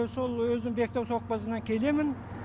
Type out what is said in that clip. сол өзім бектау савхозынан келемін